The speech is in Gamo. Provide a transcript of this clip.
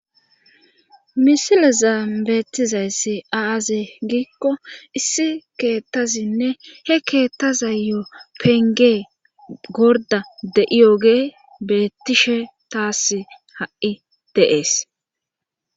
misilezan beettizayssi aaze giikko issi keettazinne he keettazayo pengee gorda de'iyoge bettishe taas ha'i de'ees